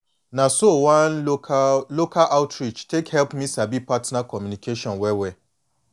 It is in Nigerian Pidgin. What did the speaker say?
na so one local local outreach take help me sabi partner communication well well